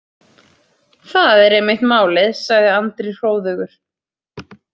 Það er einmitt málið, sagði Andri hróðugur.